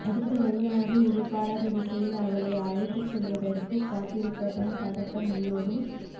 அடுத்த வரியானது எதிர்பாராத திசையில் அவளை அழைத்துச் செல்வதற்குக் காத்திருப்பதன் பதட்டம் உள்ளோடும்